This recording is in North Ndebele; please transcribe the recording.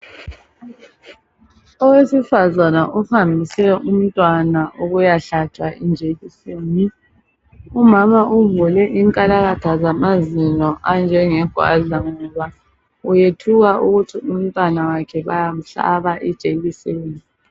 Owesifazana ohambise umntwana ukuyahlatshwa ijekiseni, umama uvule inkalakatha zamazinyo anjenge gwadla ngoba uyethuka ukuthi umntwana wakhe bayamhlaba ijekiseni.